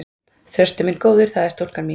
Þröstur minn góður, það er stúlkan mín.